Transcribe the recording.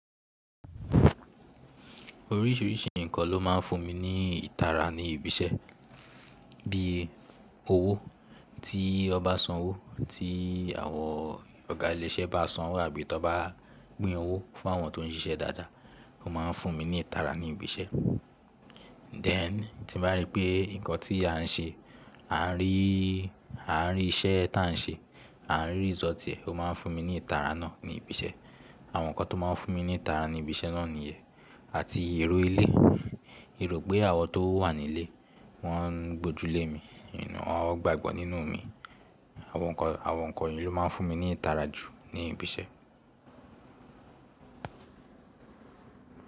Oríṣìíríṣìí nǹkan ló máa ń fún mi ní ìtara ní ibi iṣẹ́, bí i owó tí won ba sanwó, tí àwọn ọ̀gá ilé iṣẹ́ bá sanwó àbí tan bá pin owó fún àwọn tó ń ṣiṣẹ́ dáadáa. Ó máa ń fún mi ní ìtara ní ibi iṣẹ́. Then tí n bá rí pé nǹkan tí à ń ṣe, à ń rí, à ń rí iṣẹ́ ta à ń ṣe, à ń rí result e, ó máa ń fún mi ní ìtara náà ní ibi iṣẹ́. Àwọn nǹkan tó máa ń fún mi ní ìtara ní ibi iṣẹ́ náà nìyẹn àti èrò ilé. Èrò pé àwọn tó wà nílé, wọ́n ń gbójú lé mi, wọ́n gbàgbọ́ nínú mi. Àwọn nǹkan, àwọn nǹkan yìí ló máa ń fún mi ní ìtara jù ní ibi iṣẹ́.